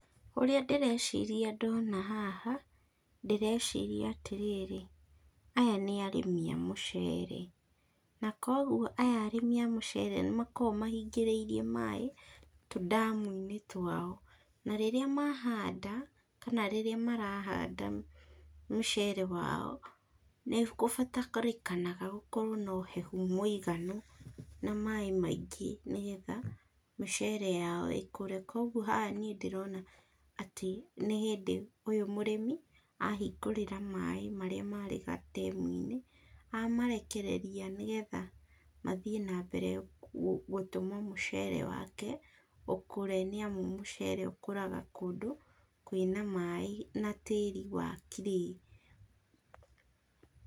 Ũrĩa ndĩreciria ndona haha ndĩreciria atĩrĩrĩ, aya nĩ arĩmĩ a muchere na kogũo aya arĩmi a muchere nĩmakoragwo mahingarĩirie maĩĩ tudamuinĩ twao na rĩrĩ mahanda kana rĩrĩa marahanda muchere wao nĩ kubataranaga gũkorwo na uhehũ mũiganu na maĩĩ maingĩ, nĩgetha mĩchere yao ĩkũre, kũguo haha nĩĩ ndĩrona nĩ hĩndĩ ũyo mũrĩmĩ ahingurĩra maĩĩ marĩa marĩ gatemuinĩ amarekereria nĩgetha mathíe na mbere gũtũma mũchere wake ũkũre niamu muchere ũkũraga kwĩna maĩĩ na tĩri wa clay.